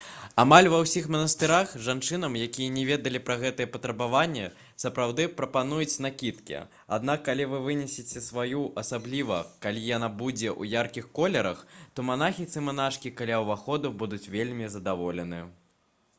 амаль ва ўсіх манастырах жанчынам якія не ведалі пра гэтыя патрабаванні сапраўды прапануюць накідкі аднак калі вы прынесяце сваю асабліва калі яна будзе ў яркіх колерах то манахі ці манашкі каля ўваходу будуць вельмі задаволены